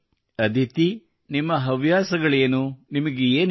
ಅದಿತಿ ನಿಮ್ಮ ಹವ್ಯಾಸಗಳೇನು ನಿಮಗೆ ಏನು ಇಷ್ಟ